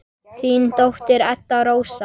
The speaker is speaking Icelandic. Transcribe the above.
Þín dóttir, Edda Rósa.